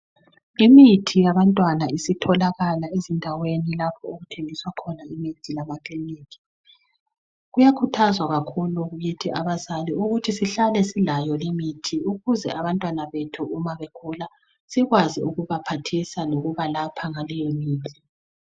Imithi yabantwana isitholakala ezindaweni lapho okuthengiswa khona imithi lamakiliniki. Kuyakhuthazwa kakhulu kithi abazali ukuthi sihlale silayo imithi ukuze abantwana bethu uma begula sikwazi ukubaphathisa ngokubalapha ngaleyomithi.